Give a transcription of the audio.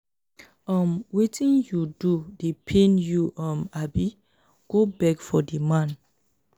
um wetin you do dey pain you um abi? go beg for di man.